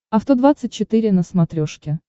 авто двадцать четыре на смотрешке